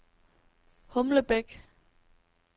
Humlebæk